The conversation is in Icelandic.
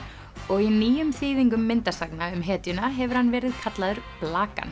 og í nýjum þýðingum myndasagna um hetjuna hefur hann verið kallaður